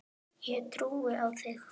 Ég trúi á þig!